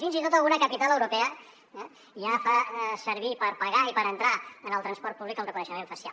fins i tot alguna capital europea ja fa servir per pagar i per entrar al transport públic el reconeixement facial